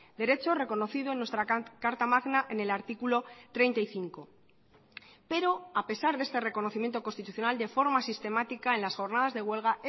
derecho reconocido en nuestra carta magna en el artículo treinta y cinco pero a pesar de este reconocimiento constitucional de forma sistemática en las jornadas de huelga